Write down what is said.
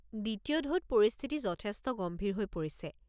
দ্বিতীয় ঢৌত পৰিস্থিতি যথেষ্ট গম্ভীৰ হৈ পৰিছে।